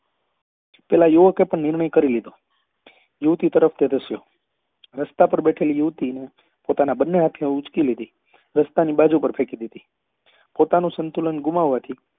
પેલા યુવક એ પણ નિર્ણય કરી લીધો યુવતી તરફ તે રસ્તા પર બેઠેલી યુવતી નું પોતાના બંને હાથ પર ઉચકી લીધી રસ્તા ની બાજુ પર ફેંકી દીધી પોતાનું સંતુલન ગુમાવવા થી